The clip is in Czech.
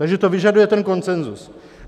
Takže to vyžaduje ten konsenzus.